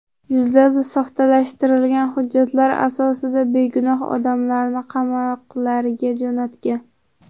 Yuzlab soxtalashtirilgan hujjatlar asosida begunoh odamlarni qamoqlarga jo‘natgan.